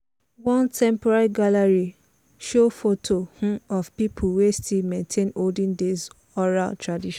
one temporary gallery show photo um of people wey still maintain olden days oral tradition.